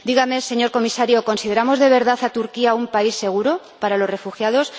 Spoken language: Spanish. Dígame, señor Comisario, ¿consideramos, de verdad, a Turquía un país seguro para los refugiados?